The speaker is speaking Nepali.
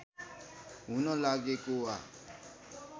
हुन लागेको वा